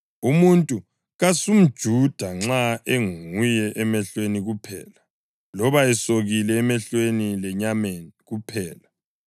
Umuntu kasumJuda nxa enguye emehlweni kuphela, loba esokile emehlweni lenyameni kuphela.